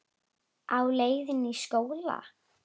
Á leið í skóla.